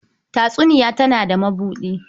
Tatsuniya tana da mabuɗi.